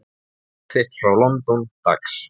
Bréf þitt frá London, dags.